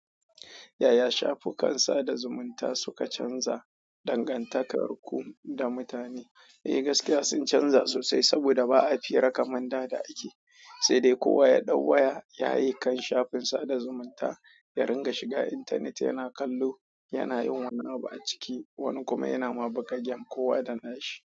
Yaya shafukan sada zumunta suka canza dangantakarku da mutane? Eh gaskiya sun canza sosai saboda ba a fira kaman da ake, sai dai kowa ya ɗau waya yayi kan shafin sada zumunta ya ringa shiga internet yana kallo, yana yin wani abu a ciki, wani kuma yana ma buga game kowa da na shi.